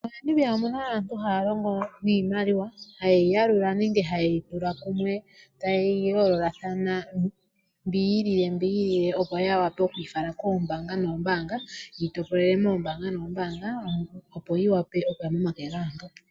MoNamibia omu na aantu haya longo niimaliwa. Haye yi yalula nenge haye yi tula kumwe taye yi yoolola, mbi yi ilile mbi yi ilile, opo ya wape oku yi fala koombaanga noombaanga ye yi topolele moombaanga noombaanga, opo yi wape oku ya momake gaantu.